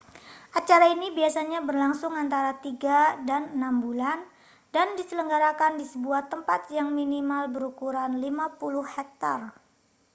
acara ini biasanya berlangsung antara tiga dan enam bulan dan diselenggarakan di sebuah tempat yang minimal berukuran 50 hektare